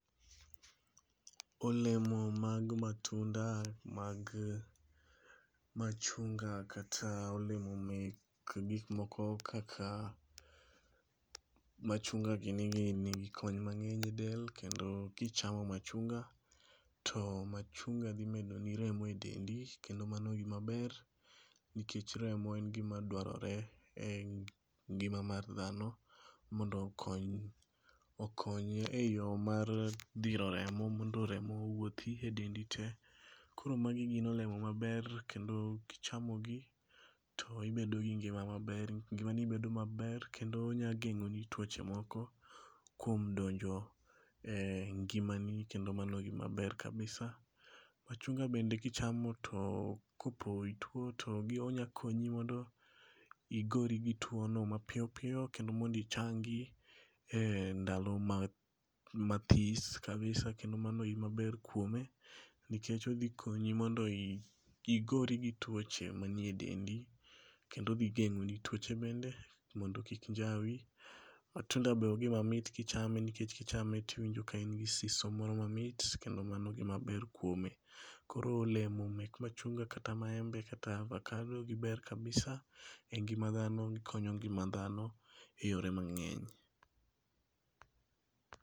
Olemo mag matunda mag machunga kata olemo mek gik moko kaka, machunga gini gi nigi kony mang'eny e del kendo, kichamo machunga, to machunga dhi medo ni remo e dendi kendo mano gimaber, nikech remo en gimadwarore e ngima mar dhano, mondo okony okony eyo mar dhiro remo mondo remo owuothi e dendi tee. Koro magi gin olemo maber kendo kichamogi, to ibedo gi ngima maber. Ngimani bedo maber kendo onyageng'o ni tuoche moko, kuom donjo e ngimani kendo mano gimaber kabisa. Machunga bende kichamo to kopo ituo to gi onya konyi mondo, igori gi tuono mapiyopiyo kendo mond ichangi e ndalo ma mathis kabisa kendo mano gimaber kuome, nikech okdhikonyi mondo i igori gi tuoche manie e dendi. Kendo odhi geng'o ni tuoche bende mondo kik njawi. matunda be ogimamit kichame, nikech kichame tiwinjo ka in gi siso moro mamit kendo mano gimaber kuome. Koro olemo mek machunga, kata maembe, kata avakado, giber kabisa e ngima dhano gikonyo ngima dhano, e yore mang'eny